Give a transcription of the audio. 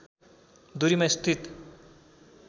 दूरीमा स्थित